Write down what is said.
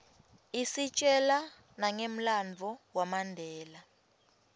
istjela nangemlanduvo wamandela